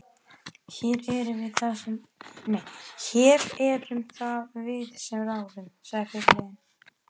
Hér erum það við sem ráðum, sagði fyrirliðinn.